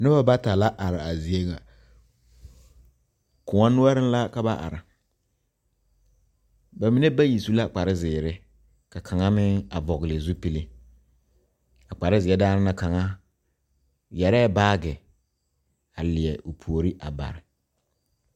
Noba bata la are a zie ŋa koɔ noɔreŋ la ka ba are ba mine bayi su la kparezeere ka kaŋa meŋ a vɔgle zupile a kparezeɛ daana na kaŋa yɛrɛɛ baage a leɛ o puori a bare.